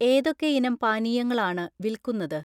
ഏതൊക്കെ ഇനം പാനീയങ്ങൾ ആണ് വിൽക്കുന്നത്?